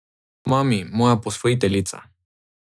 Mami, moja posvojiteljica.